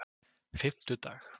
fimmtudag